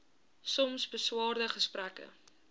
soms beswaarde gesprekke